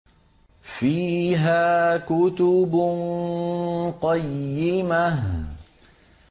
فِيهَا كُتُبٌ قَيِّمَةٌ